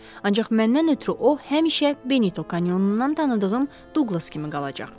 Ancaq məndən ötrü o həmişə Benito kanyonundan tanıdığım Duqlas kimi qalacaq.